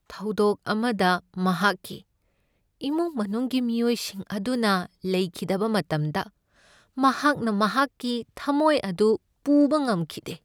ꯊꯧꯗꯣꯛ ꯑꯃꯗ ꯃꯍꯥꯛꯀꯤ ꯏꯃꯨꯡ ꯃꯅꯨꯡꯒꯤ ꯃꯤꯑꯣꯏꯁꯤꯡ ꯑꯗꯨꯅ ꯂꯩꯈꯤꯗꯕ ꯃꯇꯝꯗ ꯃꯍꯥꯛꯅ ꯃꯍꯥꯛꯀꯤ ꯊꯝꯃꯣꯏ ꯑꯗꯨ ꯄꯨꯕ ꯉꯝꯈꯤꯗꯦ ꯫